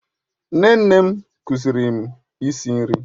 Nne nne m kụziiri m isi nri